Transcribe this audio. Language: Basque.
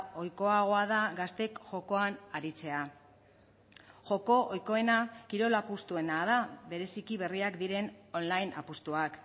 ohikoagoa da gazteek jokoan aritzea joko ohikoena kirol apustuena da bereziki berriak diren online apustuak